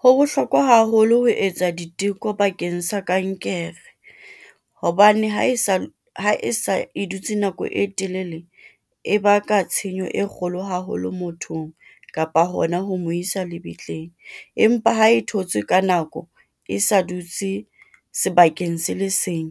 Ho bohlokwa haholo ho etsa diteko bakeng sa kankere, hobane ha e sa e dutse nako e telele, e baka tshenyo e kgolo haholo mothong, kapa hona ho mo isa lebitleng, empa ha e thotswe ka nako e sa dutse sebakeng se le seng.